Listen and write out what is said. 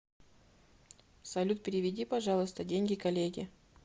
салют переведи пожалуйста деньги коллеге